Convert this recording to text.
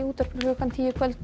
útvarpi klukkan tíu í kvöld